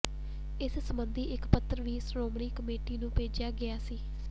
ਇਸ ਸਬੰਧੀ ਇਕ ਪੱਤਰ ਵੀ ਸ਼੍ਰੋਮਣੀ ਕਮੇਟੀ ਨੂੰ ਭੇਜਿਆ ਗਿਆ ਸੀ